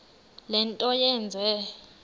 le nto yenze